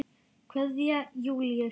Kveðja, Júlíus.